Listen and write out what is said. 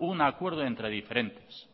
un acuerdo entre diferentes